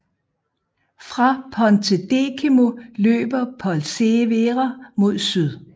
Fra Pontedecimo løber Polcevera mod syd